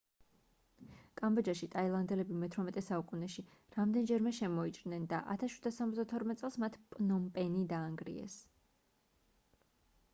კამბოჯაში ტაილანდელები მე-18 საუკუნეში რამდენჯერმე შემოიჭრნენ და 1772 წელს მათ პნომპენი დაანგრიეს